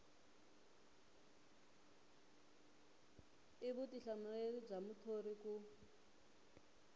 i vutihlamuleri bya muthori ku